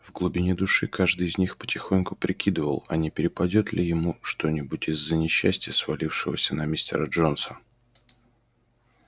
в глубине души каждый из них потихоньку прикидывал а не перепадёт ли ему что-нибудь из-за несчастья свалившегося на мистера джонса